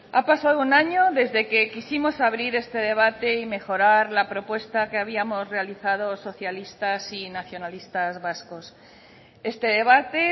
ha pasado un año desde que quisimos abrir este debate y mejorar la propuesta que habíamos realizado socialistas y nacionalistas vascos este debate